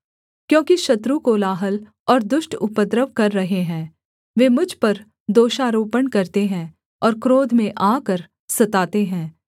क्योंकि शत्रु कोलाहल और दुष्ट उपद्रव कर रहें हैं वे मुझ पर दोषारोपण करते हैं और क्रोध में आकर सताते हैं